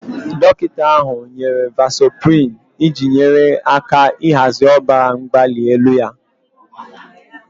Dọkịta ahụ nyere vasoprin iji nyere aka ịhazi ọbara mgbali elu ya